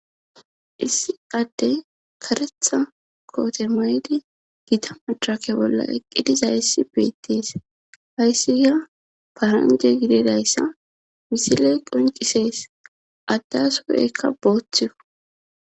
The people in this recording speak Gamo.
issi adde karetha kootemayedi gita machake bolla eqqidiza issi beittis hayssi ya paranje gidedayssa misile qoncisees addasoekka booththio